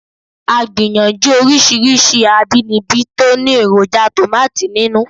A gbìyànjú oríṣiríṣi àbínibí tó ní èròjà tòmátì nínú